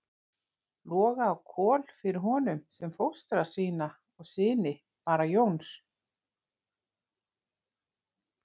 Loga og Kol fyrir honum sem fóstra sína og syni Bara Jóns.